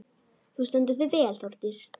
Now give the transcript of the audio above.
Þú stendur þig vel, Þórdís!